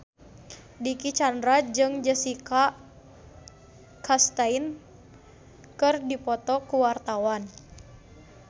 Dicky Chandra jeung Jessica Chastain keur dipoto ku wartawan